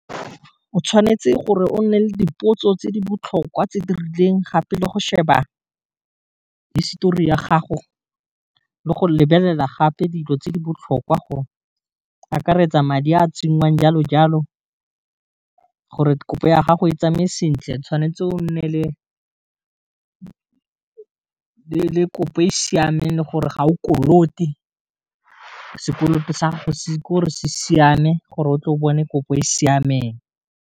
O tshwanetse gore o nne le dipotso tse di botlhokwa tse di rileng gape, le go sheba histori ya gago le go lebelela gape dilo tse di botlhokwa gore akaretsa madi a a tsenngwang jalo jalo, gore kopo ya gago e tsamaye sentle tshwanetse o nne le kopo e siameng le gore ga o kolote, sekoloto sa gago ke gore se siame gore o tle o bone kopo e e siameng.